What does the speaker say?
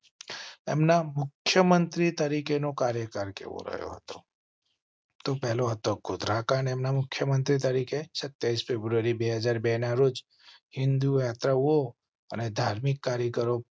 એમ ના મુખ્ય મંત્રી તરીકે નો કાર્યકાળ કેવો રહ્યો? તો પેલો હતો. ગોધરા કાંડ એમના મુખ્ય મંત્રી તરીકે સત્યાવીસ ફેબ્રુઆરી બે હાજર બે ના રોજ હિંદુ યાત્રાઓ અને ધાર્મિક કાર્યક્રો